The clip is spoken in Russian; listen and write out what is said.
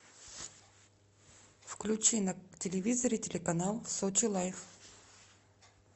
включи на телевизоре телеканал сочи лайф